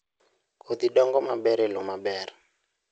Kodhi dongo maber e lowo maber